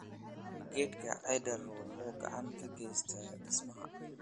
Geedka cedar wuxuu gacan ka geystaa dhismaha.